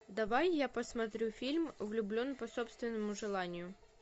давай я посмотрю фильм влюблен по собственному желанию